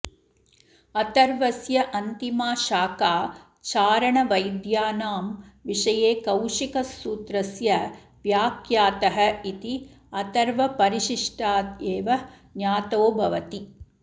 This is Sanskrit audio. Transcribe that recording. अथर्वस्य अन्तिमा शाखा चारणवैद्यानां विषये कौशिकसूत्रस्य व्याख्यातः इति अथर्वपरिशिष्टादेव ज्ञातो भवति